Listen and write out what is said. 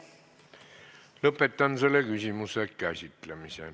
Lõpetan selle küsimuse käsitlemise.